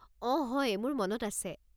অঁ হয়, মোৰ মনত আছে।